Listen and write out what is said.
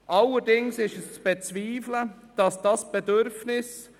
Danach sind die Fraktionen an der Reihe.